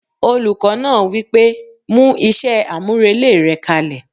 Olùkọ́ náà wí pé "mú iṣẹ́ àmúrelé rẹ kalẹ̀